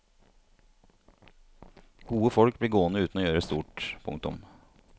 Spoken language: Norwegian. Gode folk blir gående uten å gjøre stort. punktum